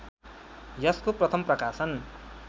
यसको प्रथम प्रकाशन